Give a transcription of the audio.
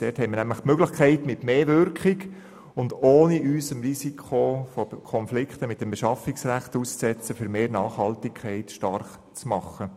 Dort haben wir die Möglichkeit, uns mit mehr Wirkung und ohne uns dem Risiko von Konflikten mit dem Beschaffungsrecht auszusetzen, für mehr Nachhaltigkeit stark zu machen.